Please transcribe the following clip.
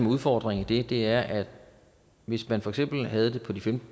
udfordringen i det er at hvis man for eksempel havde det på de